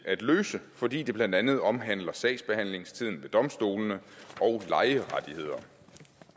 at løse fordi det blandt andet omhandler sagsbehandlingstiden ved domstolene og lejerettigheder